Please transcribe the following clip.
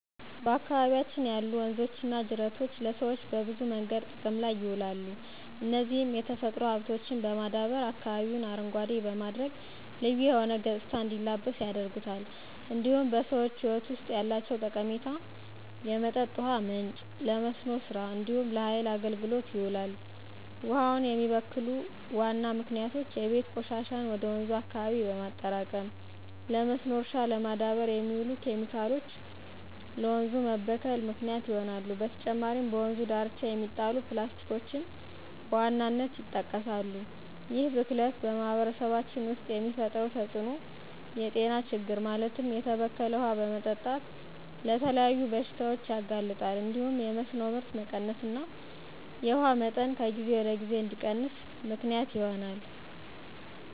በአካባቢያችን ያሉ ወንዞችና ጅረቶች ለሰዎች በብዙ መንገዶች ጥቅም ላይ ይውላሉ፣ እነዚህም የተፈጥሮ ሀብቶችን በማዳበር አካባቢውን አረንጓዴ በማድረግ ልዩ የሆነ ገፅታ እንዲላበስ ያደርጉታል። እንዲሁም በሰዎች ህይወት ውስጥ ያላቸው ጠቀሜታ የመጠጥ ውሃ ምንጭ፣ ለመስኖ ስራ እንዲሁም ለሃይል አገልግሎት ይውላል። ውሃውን የሚበክሉ ዋና ምክንያቶች የቤት ቆሻሻን ወደ ወንዙ አካባቢ በማጠራቀም፣ ለመስኖ እርሻ ለማዳበር የሚውሉ ኬሚካሎች ለወንዞች መበከል ምክንያት ይሆናሉ። በተጨማሪም በወንዙ ዳርቻ የሚጣሉ ፕላስቲኮችን በዋናነት ይጠቀሳሉ። ይህ ብክለት በማህበረሰባችን ውስጥ የሚፈጥረው ተፅዕኖ የጤና ችግር ማለትም የተበከለ ውሃ በመጠጣት ለተለያዩ በሽታዎች ያጋልጣል እንዲሁም የመስኖ ምርት መቀነስና የውሃው መጠን ከጊዜ ወደ ጊዜ እንዲቀንስ ምክንያት ይሆናል።